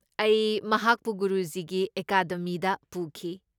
ꯑꯩ ꯃꯍꯥꯛꯄꯨ ꯒꯨꯔꯨꯖꯤꯒꯤ ꯑꯦꯀꯥꯗꯦꯃꯤꯗ ꯄꯨꯈꯤ꯫